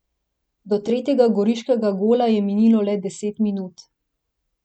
Do tretjega goriškega gola je minilo le deset minut.